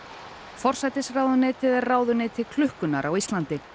forsætisráðuneytið er ráðuneyti klukkunnar á Íslandi